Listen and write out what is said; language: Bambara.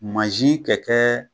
Mansin kɛ kɛ